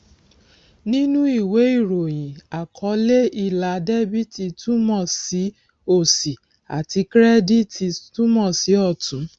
nínú ìwé ìròyìn àkọlé ilà debiti túmọ sí òsì àti kirediti túmọ sí ọtún